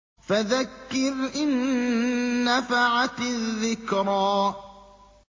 فَذَكِّرْ إِن نَّفَعَتِ الذِّكْرَىٰ